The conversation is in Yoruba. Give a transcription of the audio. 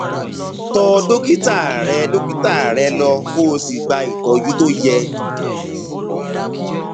tọ dókítà rẹ dókítà rẹ lọ kó o sì gba ìtọjú tó yẹ